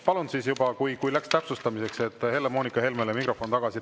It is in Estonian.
Palun, kui läks täpsustamiseks, Helle-Moonika Helmele mikrofon tagasi.